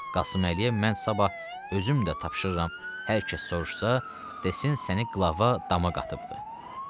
Qasıməliyə mən sabah özüm də tapşırıram hər kəs soruşsa, desin səni Qlava dama qatıbdır.